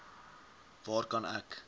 waar kan ek